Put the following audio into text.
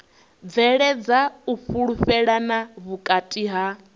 bveledza u fhulufhelana vhukati ha